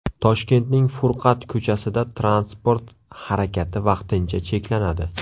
Toshkentning Furqat ko‘chasida transport harakati vaqtincha cheklanadi.